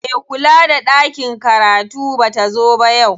Me kula da ɗakin karatu bata zo ba yau.